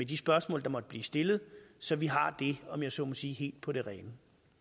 de spørgsmål der måtte blive stillet så vi har det om jeg så må sige helt på det rene